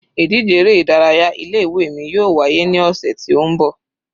Ìdíje eré ìdárayá ilé ìwé mi yóò wá yé ní ọ̀sẹ̀ ti ó ń bọ̀.